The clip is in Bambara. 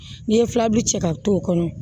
N'i ye filaburu cɛ ka to o kɔnɔ